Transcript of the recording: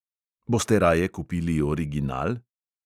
Boste raje kupili original?